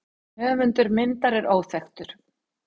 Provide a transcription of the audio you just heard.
Höfundur myndar er óþekktur.